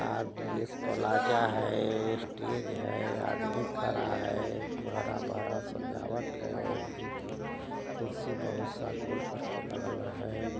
RDS plaza है stage है अदभुत कला है हरा-भरा सजावट है एक दो तीन कुर्सी बहुत-सा गोल करके लगल है।